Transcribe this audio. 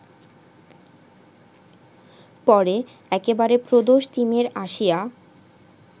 পরে একেবারে প্রদোষতিমির আসিয়া